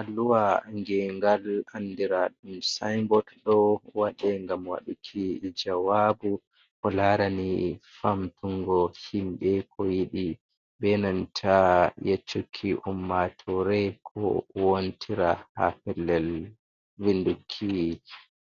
Alluwa ngengal andira ɗum sinbot. Ɗo waɗe ngam waɗuki jawabu ko larani famtungo himɓe ko yiɗi be nanta yeccuki ummatore ko wontira ha pellel vinduki